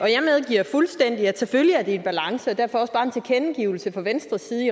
jeg medgiver fuldstændig at det selvfølgelig er en balance og derfor også bare en tilkendegivelse fra venstres side